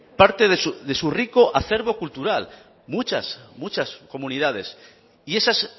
parte de su rico acervo cultural muchas muchas comunidades y esas